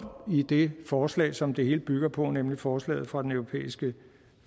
i det forslag som det hele bygger på nemlig forslaget fra den europæiske